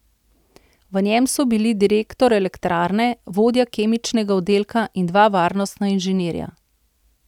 V njem so bili direktor elektrarne, vodja kemičnega oddelka in dva varnostna inženirja.